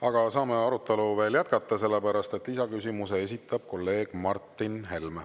Aga saame arutelu veel jätkata, sest lisaküsimuse esitab kolleeg Martin Helme.